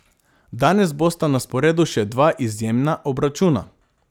Danes bosta na sporedu še dva izjemna obračuna.